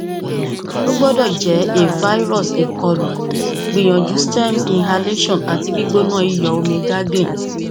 o gbọdọ jẹ a virus ikọlu gbiyanju stems inhalation ati gbona iyọ omi gargling